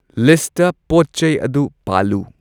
List ꯄꯣꯠ ꯆꯩ ꯑꯗꯨ ꯄꯥꯜꯂꯨ꯫